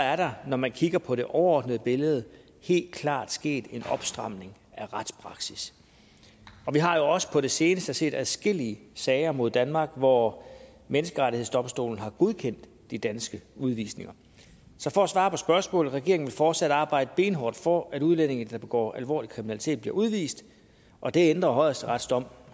er der når man kigger på det overordnede billede helt klart sket en opstramning af retspraksis og vi har jo også på det seneste set adskillige sager mod danmark hvor menneskerettighedsdomstolen har godkendt de danske udvisninger så for at svare på spørgsmålet regeringen vil fortsat arbejde benhårdt for at udlændinge der begår alvorlig kriminalitet bliver udvist og det ændrer højesterets dom